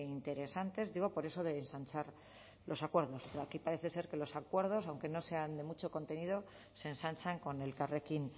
interesantes digo por eso de ensanchar los acuerdos pero aquí parece ser que los acuerdos aunque no sean de mucho contenido se ensanchan con elkarrekin